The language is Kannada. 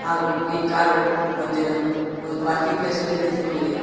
ಹಾಗು ಈ ಕಾರು ಒಂದಿನ ಒಂದು ಪಾರ್ಕಿಂಗ್ ಪ್ಲೇಸ್ ಅಲ್ಲಿ ನಿಂತುಕೊಂಡಿದೆ.